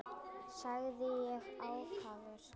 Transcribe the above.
sagði ég ákafur.